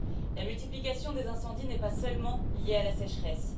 La multiplication des incendies n'est pas seulement liée à la sécheresse.